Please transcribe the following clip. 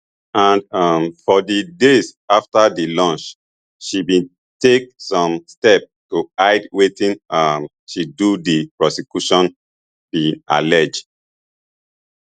and um for di days afta di lunch she bin take some steps to hide wetin um she do di prosecution bin allege